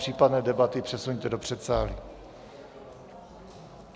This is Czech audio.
Případné debaty přesuňte do předsálí.